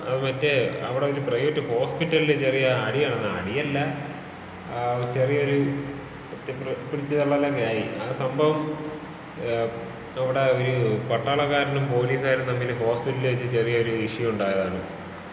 മറ്റെ അവിടെ ഒരു പ്രൈവറ്റ് ഹോസ്പിറ്റലില് ചെറിയ അടി നടന്നതാ...അടിയല്ല, ചെറിയൊരു പിടിച്ചുതള്ളലൊക്കെ ആയി. ആ സംഭവം അവിടെ ഒരു പട്ടാളക്കാരനും പൊലീസ്‌കാരും തമ്മില് ഹോസ്പിറ്റലില് വെച്ച് ചെറിയൊരു ഇഷ്യൂ ഉണ്ടായതാണ്.